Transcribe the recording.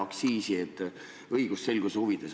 Küsin õigusselguse huvides.